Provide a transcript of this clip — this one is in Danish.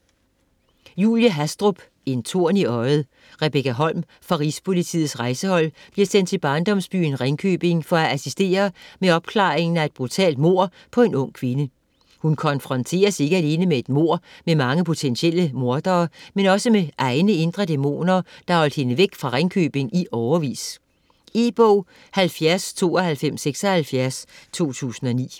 Hastrup, Julie: En torn i øjet Rebekka Holm fra Rigspolitiets Rejsehold bliver sendt til barndomsbyen Ringkøbing for at assistere med opklaringen af et brutalt mord på en ung kvinde. Hun konfronteres ikke alene med et mord med mange potentielle mordere, men også med egne indre dæmoner, der har holdt hende væk fra Ringkøbing i årevis. E-bog 709276 2009.